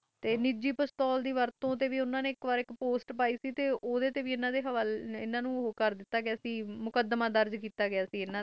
ਤੇ ਨਿਜੀ ਪਸਤੌਲ ਦੇ ਵਰਤੋਂ ਨਾਲ ਹਨ ਹਨ ਨੇ ਇਕ ਪੋਸਟ ਪੈ ਸੀ ਤੇ ਵੀ ਹਨ ਤੇ ਮੁਕਦਮਾ ਹੋ ਗਿਆ ਸੀ